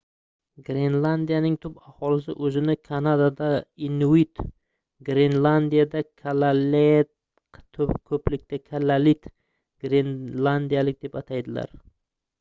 grenlandiyaning tub aholisi o'zini kanadada inuit glenlandiyada kalaaleq ko'plikda — kalaallit — grenlandiyalik deb ataydilar